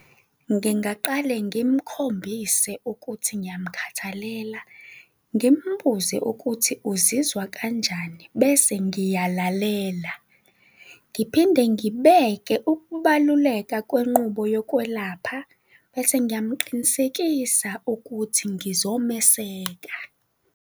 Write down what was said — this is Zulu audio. Ngingaqale ngimkhombise ukuthi ngiyamkhathalela, ngimbuze ukuthi uzizwa kanjani bese ngiyalalela, ngiphinde ngibeke ukubaluleka kwenqubo yokwelapha bese ngiyamqinisekisa ukuthi ngizomeseka.